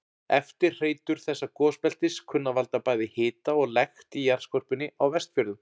Eftirhreytur þessa gosbeltis kunna að valda bæði hita og lekt í jarðskorpunni á Vestfjörðum.